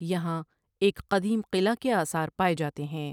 یہاں ایک قدیم قلعہ کے آثار پائے جاتے ہیں ۔